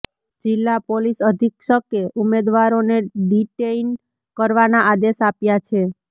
જિલ્લા પોલીસ અધિક્ષકે ઉમેદવારોને ડિટેઇન કરવાના આદેશ આપ્યા છે